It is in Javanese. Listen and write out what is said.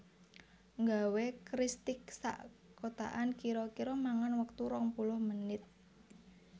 Nggawe kristik sak kotakan kiro kiro mangan wektu rong puluh menit